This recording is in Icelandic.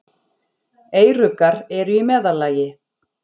Eyruggar eru í meðallagi.